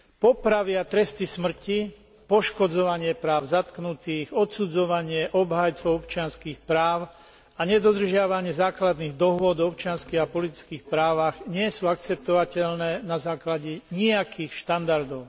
Popravy, tresty smrti, poškodzovanie práv zatknutých, odsudzovanie obhajcov občianskych práv a nedodržiavanie základných dohôd o občianskych a politických právach nie sú akceptovateľné na základe nijakých štandardov.